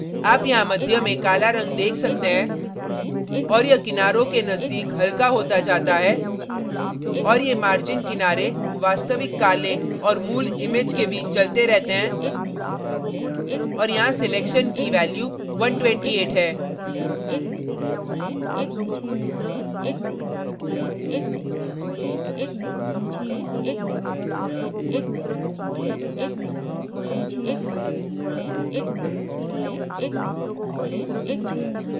आप यहाँ मध्य में काला रंग देख सकते हैं और यह किनारों के नजदीक हल्का होता जाता है और ये margin किनारे वास्तविक काले और मूल image के बीच चलते रहते हैं और यहाँ selection की value 128 है